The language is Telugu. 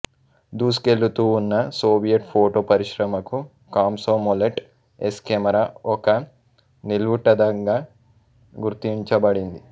దూసుకెళుతూ ఉన్న సోవియట్ ఫోటో పరిశ్రమకు కాంసొమొలెట్ ఎస్ కెమెరా ఒక నిలువుటద్దంగా గుర్తించబడింది